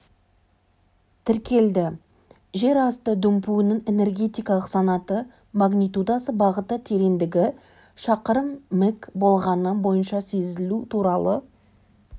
тіркелді жер асты дүмпуінің энергетикалық санаты магнитудасы бағыты тереңдігі шақырым мік бағаны бойынша сезілу туралы